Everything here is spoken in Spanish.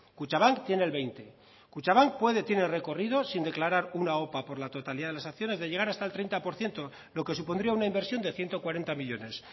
kutxabank tiene el veinte kutxabank puede tiene recorrido sin declarar una opa por la totalidad de las acciones de llegar hasta el treinta por ciento lo que supondría una inversión de ciento cuarenta millónes